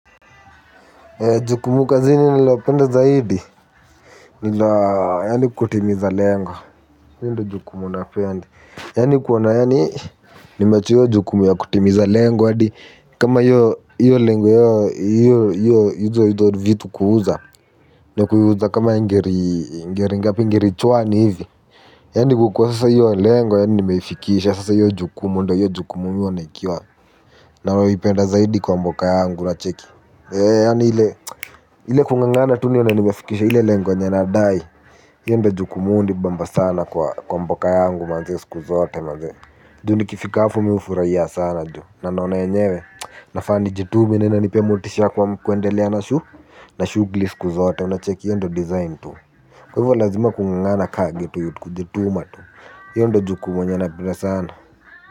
Jukumu la kazini ninalopenda zaidi, ni kutimiza lengo. Hilo ndojukumu napenda. Yani kuona, ni mejua jukumu ya kutimiza lengo. Kama yu lengo yu yu yu yu yu yu yu yu yu vitu kuuza. Na kuuza kama ngiri ngapi ngiri chwani hivi. Yani kwa sasa hilo lengo yaani nimeifikisha sasa hiyo jukumu ndo naipenda zaidi kwa mboka yangu unacheki. Eee ya ni ile kungangana tu ni yonaniwefikisha hile lengwa nyanadai. Yende ju kumundi bamba sana kwa mboka yangu mazese kuzote mazese. Ju ni kifika hafu miufuraiya sana ju nanaona yenyewe. Nafa nijitume nipee motisha kwa kuendelea na shu. Na shughuli siku zote una check hiyo ndo design tu. Kwa hivyo lazima kungangana ka kujituma tu. Hilo nfo jukumu lenye napenda sana.